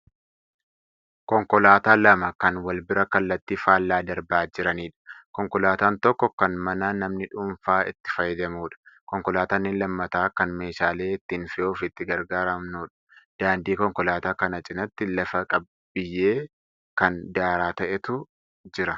Konkolaataa lama kan wal bira kallattii faallaa darbaa jiranidha. konkolaataan tokko kan manaa namni dhuunfaa itti fayyadamudha. Konkolaataan inni lammataa kan meeshaalee ittiin fe'uuf itti gargaaramnudha. Daandii konkolaataa kana cinaatti lafa biyyee kan daaraa ta'etu jira.